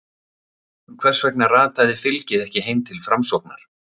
Hvers vegna rataði fylgið ekki heim til Framsóknar?